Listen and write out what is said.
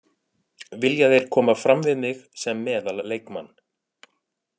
Vilja þeir koma fram við mig sem meðal leikmann.